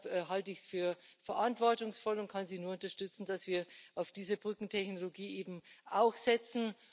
Und deshalb halte ich es für verantwortungsvoll und kann Sie nur unterstützen, dass wir auf diese Brückentechnologie eben auch setzen.